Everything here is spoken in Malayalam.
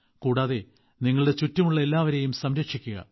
കൂടാതെ നിങ്ങളുടെ ചുറ്റുമുള്ള എല്ലാവരെയും സംരക്ഷിക്കുക